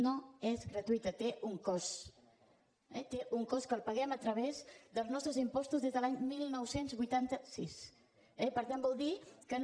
no és gratuïta té un cost eh té un cost que el paguem a través dels nostres impostos des de l’any dinou vuitanta sis eh per tant vol dir que no